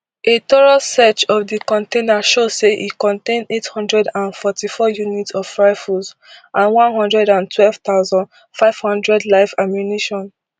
a thorough search of di container show say e contain eight hundred and forty-four units of rifles and one hundred and twelve thousand, five hundred live ammunition